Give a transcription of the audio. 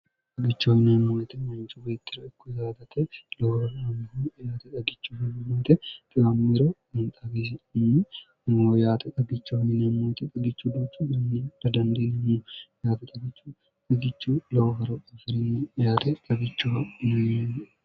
agichoyineemmoyete manchu weittira ikku yaatate lowororamiho yate xagichu hmemmoyte 1imammero xagisim yaate xagicho yinemmoyite xagichu duucu anni dadandiilimo yaate ggichu xigichu lowoforo ofirinnoyaate gagichohoneieni